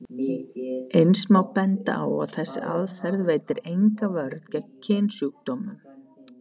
Eins má benda á að þessi aðferð veitir enga vörn gegn kynsjúkdómum.